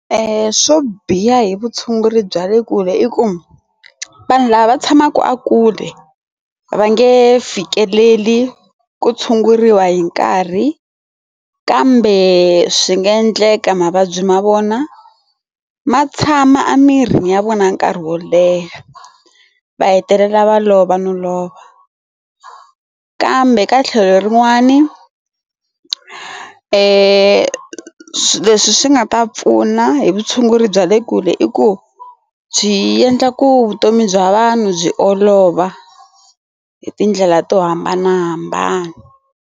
E swo biha hi vutshunguri bya le kule i ku vanhu lava va tshamaka a kule va nge fikeleli ku tshunguriwa hi nkarhi kambe swi nga endleka mavabyi ma vona ma tshama a mirini ya vona nkarhi wo leha va hetelela va lova no lova kambe ka tlhelo rin'wani e leswi swi nga ta pfuna hi vutshunguri bya le kule i ku byi endla ku vutomi bya vanhu byi olova hi tindlela to hambanahambana.